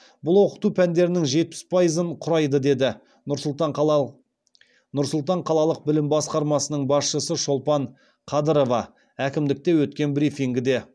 бұл оқыту пәндерінің жетпіс пайызын құрайды деді нұр сұлтан қалалық білім басқармасының басшысы шолпан қадырова әкімдікте өткен брифингіде